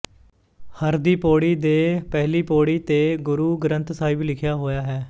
ਹਰ ਦੀ ਪੋੜੀ ਦੇ ਪਹਿਲੀ ਪੋੜੀ ਤੇ ਗੁਰੂ ਗ੍ਰੰਥ ਸਾਹਿਬ ਲਿਖਿਆ ਹੋਇਆ ਹੈ